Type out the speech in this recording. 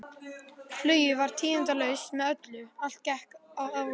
Flugið var tíðindalaust með öllu, allt gekk að áætlun.